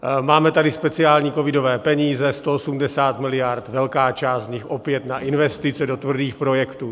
Máme tady speciální covidové peníze 180 miliard, velká část z nich opět na investice do tvrdých projektů.